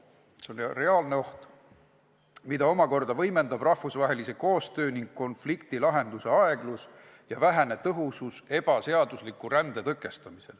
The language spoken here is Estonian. See on reaalne oht, mida võimendab rahvusvahelise koostöö raames konfliktide lahendamise aeglus ja vähetõhus ebaseadusliku rände tõkestamine.